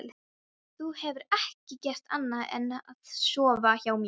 Þú hefur ekki gert annað en að sofa hjá mér.